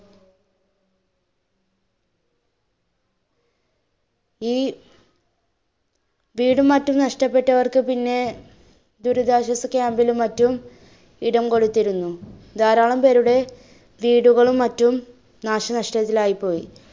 ഈ വീടും മറ്റും നഷപെട്ടവർക്ക് പിന്നെ ദുരിതാശ്വാസ camp ലും മറ്റും ഇടംകൊടുത്തിരുന്നു. ധാരാളം പേരുടെ വീടുകളും മറ്റും നാശനഷ്ടത്തിൽ ആയി പോയി.